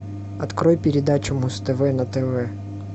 открой передачу муз тв на тв